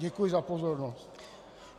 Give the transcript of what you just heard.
Děkuji za pozornost.